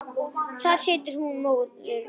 þar situr hún móðir mín